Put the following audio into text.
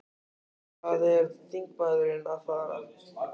Hvað er þingmaðurinn að fara?